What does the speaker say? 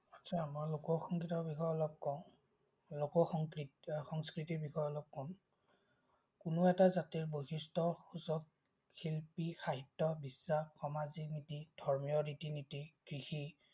লোকসংগীতৰ বিষয়ে অলপ কম। লোকসংগীত সংস্কৃতিৰ বিষয়ে অলপ কম। কোনো এটা জাতিৰ বৈশিষ্টসুচক শিল্পী, সাহিত্য, বিশ্বাস, সামাজিক নীতি, ধৰ্মীয় ৰিতি-নীতি, কৃষি